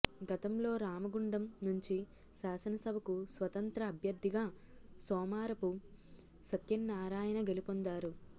గతంలో రామగుండం నుంచి శాసనసభకు స్వతంత్ర అభ్యర్థిగా సోమారపు సత్యనారాయణ గెలుపొందారు